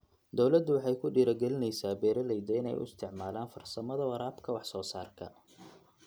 Dawladdu waxay ku dhiirigelinaysaa beeralayda inay u isticmaalaan farsamada waraabka wax soo saarka.